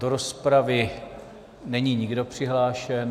Do rozpravy není nikdo přihlášen.